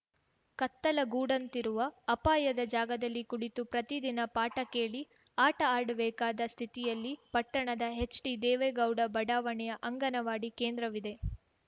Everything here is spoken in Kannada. ಕತ್ತಲ ಗೂಡಂತಿರುವ ಅಪಾಯದ ಜಾಗದಲ್ಲಿ ಕುಳಿತು ಪ್ರತಿದಿನ ಪಾಠ ಕೇಳಿ ಆಟ ಆಡಬೇಕಾದ ಸ್ಥಿತಿಯಲ್ಲಿ ಪಟ್ಟಣದ ಹೆಚ್‌ಡಿ ದೇವೇಗೌಡ ಬಡಾವಣೆಯ ಅಂಗನವಾಡಿ ಕೇಂದ್ರವಿದೆ